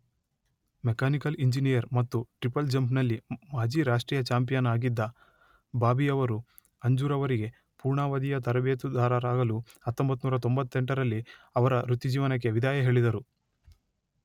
Mechanical engineer ಮತ್ತು triple jump ನಲ್ಲಿ ಮಾಜಿ ರಾಷ್ಟ್ರೀಯ ಚಾಂಪಿಯನ್ ಆಗಿದ್ದ ಬಾಬಿಯವರು ಅಂಜುರವರಿಗೆ ಪೂರ್ಣಾವಧಿಯ ತರಬೇತುದಾರರಾಗಲು ಹತ್ತೊಂಬತ್ತು ನೂರ ತೊಂಬತ್ತೆಂಟರಲ್ಲಿ ಅವರ ವೃತ್ತಿ ಜೀವನಕ್ಕೆ ವಿದಾಯ ಹೇಳಿದರು.